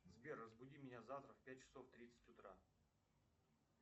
сбер разбуди меня завтра в пять часов тридцать утра